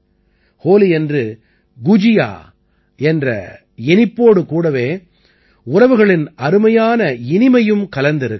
ஹோலியன்று குஜியா என்ற இனிப்போடு கூடவே உறவுகளின் அருமையான இனிமையும் கலந்திருக்கிறது